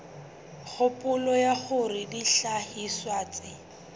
kgopolo ya hore dihlahiswa tse